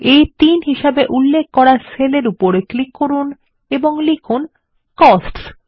আ3 হিসেবে উল্লেখ করা সেল উপর ক্লিক করুন এবং লিখুন কোস্টস